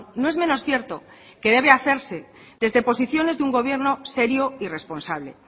no es menos cierto que debe hacerse desde posiciones de un gobierno serio y responsable